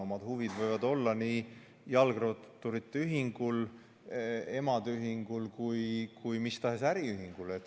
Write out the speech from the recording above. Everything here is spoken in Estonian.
Omad huvid võivad olla nii jalgratturite ühingul, emade ühingul kui ka mis tahes äriühingul.